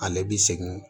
Ale bi segin